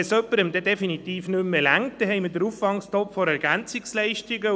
Wenn es jemandem definitiv nicht mehr reicht, dann haben wir den Auffangtopf der EL.